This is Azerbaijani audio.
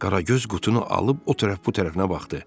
Qaragöz qutunu alıb o tərəf bu tərəfinə baxdı.